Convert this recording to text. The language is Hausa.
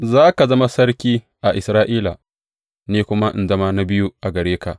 Za ka zama sarki a Isra’ila, ni kuma in zama na biyu gare ka.